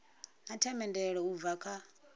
na themendelo u bva kha